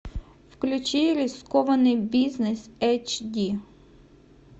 включи рискованный бизнес эйч ди